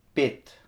Pet.